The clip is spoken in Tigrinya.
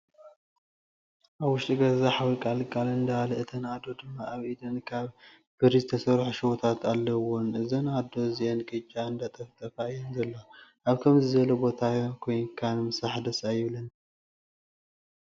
ኣብ ውሽጢ ገዛ ሓዊ ቃል ቃል እንዳበለ እተን ኣዶ ድማ ኣብ ኢደን ካብ ብሪ ዝተሰርሑ ሽቦታት ኣለውወን። እዘን ኣዶ እዚኣን ቅጫ እንዳጠፍጠፋ እየን ዘለዋ። ኣብ ከምዚይ ዝበለ ቦታ ኮይካ ምስራሕ ደስ ኣይብለንን።